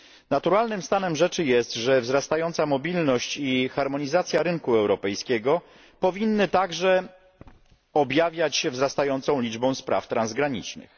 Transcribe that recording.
Naturalnym stanem rzeczy jest, że wzrastająca mobilność i harmonizacja rynku europejskiego powinna także objawiać się rosnącą liczbą spraw transgranicznych.